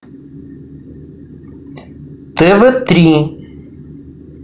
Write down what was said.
тв три